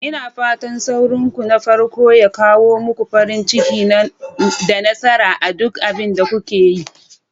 Ina fatan saurinku na farko ya kawo muku farin ciki da nasara a duk abin da kuke yi.